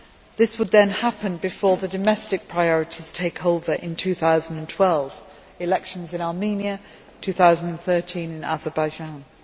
This would then happen before the domestic priorities take over in 2012 elections in Armenia in 2012, and in Azerbaijan in